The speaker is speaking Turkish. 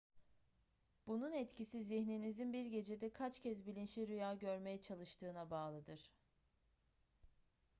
bunun etkisi zihninizin bir gecede kaç kez bilinçli rüya görmeye çalıştığına bağlıdır